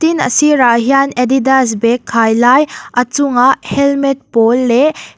tin a sir ah hian adidas bag khai lai a chungah helmet pawl leh--